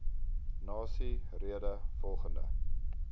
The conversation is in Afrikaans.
nasie rede volgende